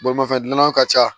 Bolimafɛn dumlanw ka ca